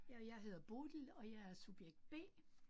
Ja jeg hedder Bodil, og jeg er subjekt B